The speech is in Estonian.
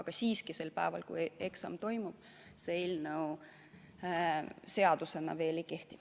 Aga siiski sel päeval, kui eksam toimub, see eelnõu seadusena veel ei kehti.